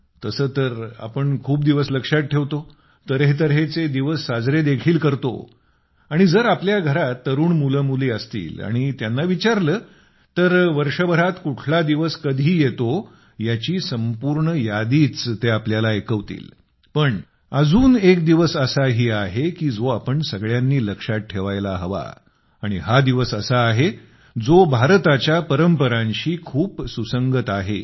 तसं तर आपण खूप सारे दिवस लक्षात ठेवतो तऱ्हे तऱ्हेचे दिवस साजरे देखील करतो आणि जर आपल्या घरात तरुण मुलं मुली असतील आणि त्यांना विचारलं तर वर्षभरात कुठला दिवस कधी येतो ह्याची संपूर्ण यादीच ते आपल्याला ऐकवतील पण अजून एक दिवस असाही आहे की जो आपण सगळ्यांनी लक्षात ठेवायला हवा आणि हा दिवस असा आहे जो भारताच्या परंपरांशी खूप सुसंगत आहे